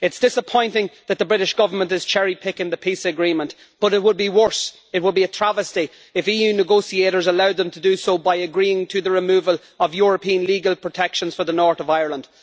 It is disappointing that the British Government is cherry picking the Peace Agreement, but it would be worse, it would be a travesty, if EU negotiators allowed them to do so by agreeing to the removal of European legal protections for the North of Ireland.